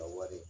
A wari